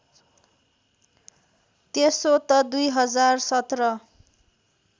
त्यसो त २०१७